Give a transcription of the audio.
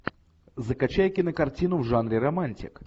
закачай кинокартину в жанре романтик